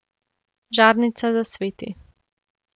Žarnica zasveti.